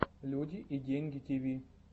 люди и деньги тиви